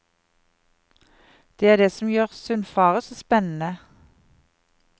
Det er det som gjør sundfaret så spennende.